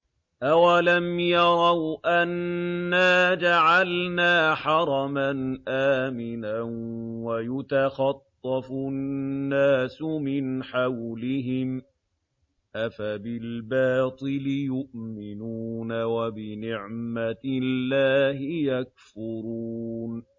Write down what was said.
أَوَلَمْ يَرَوْا أَنَّا جَعَلْنَا حَرَمًا آمِنًا وَيُتَخَطَّفُ النَّاسُ مِنْ حَوْلِهِمْ ۚ أَفَبِالْبَاطِلِ يُؤْمِنُونَ وَبِنِعْمَةِ اللَّهِ يَكْفُرُونَ